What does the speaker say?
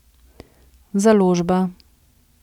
Založba.